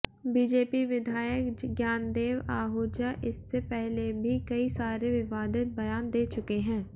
BJP विधायक ज्ञानदेव आहूजा इससे पहले भी कई सारे विवादित बयान दे चुके हैं